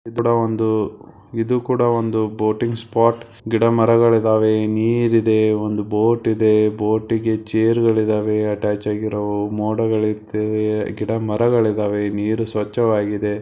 ಇದು ಕೂಡ ಒಂದು ಇದು ಕೂಡ ಒಂದು ಬೋಟಿಂಗ್ ಸ್ಪಾಟ್ ಗಿಡ ಮರಗಳಿದವೆ ನೀರಿದೆ ಒಂದು ಬೋಟ್ ಇದೆ ಬೋಟಿಗೆ ಚೇರ್ಗಳಿವೆ ಅಟ್ಯಾಚ್ ಆಗಿರೋ ಮೋಡಗಳು ಇದಾವೆ ಗಿಡ ಮರಗಳಿದ್ದಾವೆ ನೀರು ಸ್ವಚ್ಛವಾಗಿದೆ.